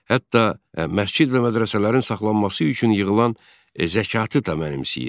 Hətta məscid və mədrəsələrin saxlanması üçün yığılan zəkatı da mənimsəyirdi.